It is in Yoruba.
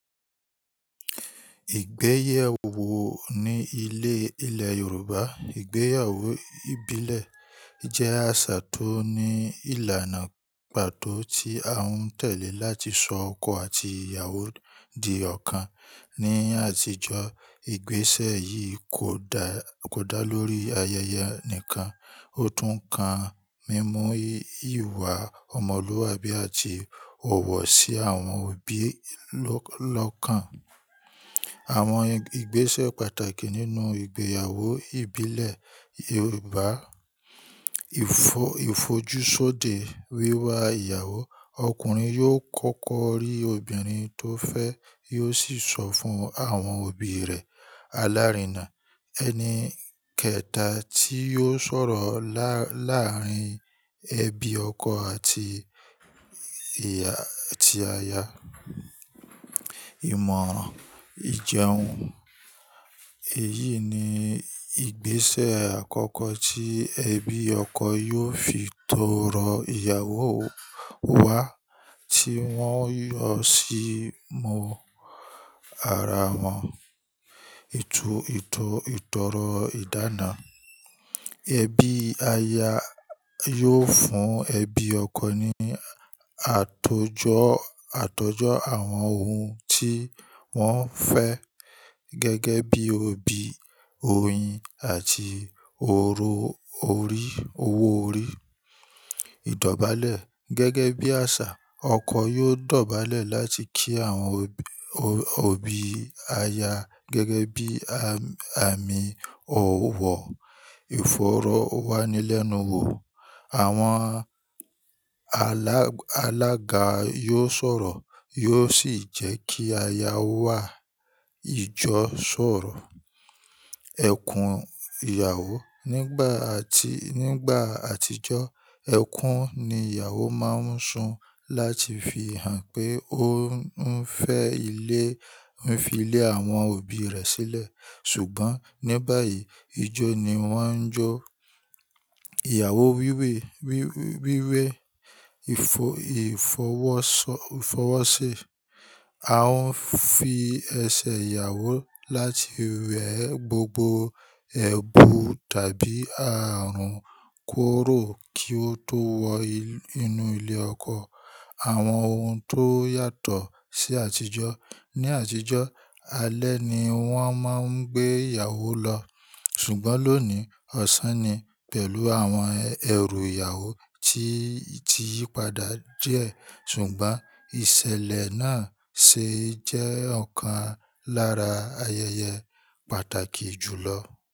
Ìgbéyàwó ni ilẹ̀ Yorùbá, ìgbéyàwó ìbílẹ̀ jẹ́ àṣà tó ní ìlànà pàtó tí a ń tẹ̀lé láti so ọkọ àti ìyàwó di ọ̀kan. Ni àtijọ́, ìgbésẹ̀ yìí kò dá lórí ayẹyẹ nìkan, ó tún kan mímú ìwà ọmọlúwàbí àti ọ̀wọ̀ sí àwọn òbí lọ́kàn. Àwọn ìgbésẹ̀ pàtàkì nínú ìgbéyàwó ìbílẹ̀ Yorùbá. Ìfojúsóde wíwá ìyàwó. Ọkùnrin yóò kọ́kọ́ rí obìnrin tó fẹ́, yóò sì sọ fún àwọn òbí rẹ̀. Alárinà. Ẹni kẹta tí yóò sọ̀rọ̀ láàárín ẹbí ọkọ àti aya. Ìmọ̀ ìjẹun. Èyí ni ìgbésẹ̀ àkọ́kọ́ tí ẹbí ọkọ yóò fi tọrọ ìyàwó wá tí wọ́n yóò sì mú ara wọn. Ìtọrọ ìdána. Ẹbí aya yóò fún ẹbí ọkọ ní àtọjọ́ àwọn ohun tí wọ́n fẹ́ gẹ́gẹ́ bíi obì, oyin àti owó orí. Ìdọ̀bálẹ̀. Gẹ́gẹ́ bí àṣà, ọkọ yóò dọ̀bálẹ̀ láti kí àwọn òbí aya gẹ́gẹ́ bí àmì òwò. Ìfọ̀rọ̀ wá ní lẹ́nu wò. Àwọn alága yóò sọ̀rọ̀, yóò sì jẹ́ kí aya wá ìjọ sọ̀rọ̀. Ẹkùn ìyàwó. Nígbà àtijọ́, ẹ̀kún ni ìyàwó máa ń sun láti fi hàn pé ó ń fẹ́ fi ilé àwọn òbí rẹ̀ sílẹ̀. Ṣùgbọ́n ní báyìí, ijó ni wọ́n ń jó. Ìyàwó wíwé. Wíwé ìfọwọ́sọ́. A ń fi ẹsẹ̀ ìyàwó láti wẹ gbogbo ẹbu tàbí ààrùn kuró kí ó tó wọ inú ilé ọkọ. Àwọn ohun tó yàtọ̀ sí àtijọ́. Ni àtijọ́, alẹ́ ni wọ́n máa ń gbé ìyàwó lọ, ṣùgbọ́n lónìí, ọ̀sán ni pẹ̀lú àwọn ẹrù ìyàwó tí ti yípadà díẹ̀ ṣùgbọ́n ìṣẹ̀lẹ̀ náà ṣe jẹ́ ọ̀kan lára ayẹyẹ pàtàkì jù lọ.